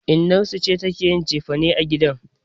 Innar su ce ke yin cefane a gidan.